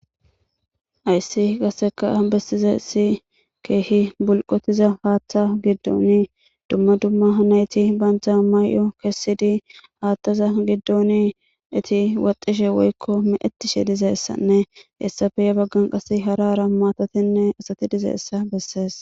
Hayssi qasseka bessizayssi keehi bulqotiza haaththa giddoni dumma dumma nayti banta mayo kessidi haataza giddoni eti wotishe woykko meecetishe dizayssanne hessappe he baggan qasse hara hara maatatinne asati dizayssa bessees.